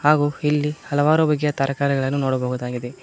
ಹಾಗು ಇಲ್ಲಿ ಹಲವಾರು ಬಗೆಯ ತರಕಾರಿಗಳನ್ನು ನೋಡಬಹುದಾಗಿದೆ.